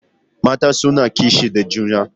Mata suna kishi da juna.